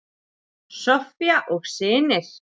Soffía og synir.